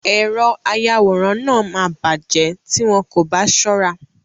Èrọ ayàwòrán náà máa bàjẹ́ tí wọn kò bá ṣọ́ra.